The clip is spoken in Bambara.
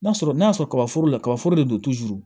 N'a sɔrɔ n'a sɔrɔ ka foro la kaba foro de don